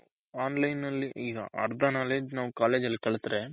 on line ನಲ್ಲಿ ಈಗ ಅರ್ದ knowledge ಈಗ college ಅಲ್ಲಿ ಕಲತ್ರೆ